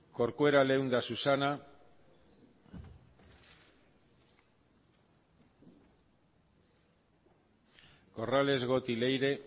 corcuera leunda susana corrales goti leire